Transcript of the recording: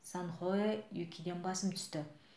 санхоэ юкиден басым түсті